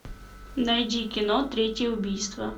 найди кино третье убийство